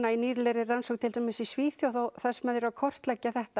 í nýlegri rannsókn í Svíþjóð þar sem þeir eru að kortleggja þetta